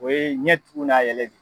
O ye ɲɛtugu n'a yɛlɛ de.